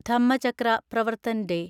Dhammachakra Pravartan day